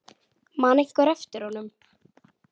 Man einhver eftir honum?